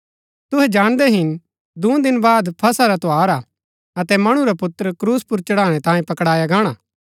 तुहै जाणदै हिन कि दूँ दिन बाद फसह रा त्यौहार हा अतै मणु रा पुत्र क्रूस पुर चढ़ाणै तांयें पकड़ाया गाणा